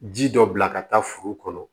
Ji dɔ bila ka taa foro kɔnɔ